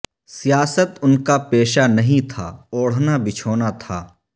سیاست ان کا پیشہ نہیں تھا اوڑھنا بچھونا تھا